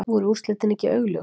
Voru úrslitin ekki augljós?